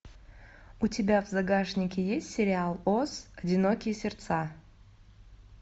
у тебя в загашнике есть сериал ос одинокие сердца